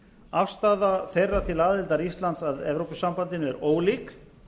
afstaða þeirra til aðildar íslands að evrópusambandinu er ólík